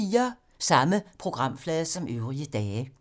Samme programflade som øvrige dage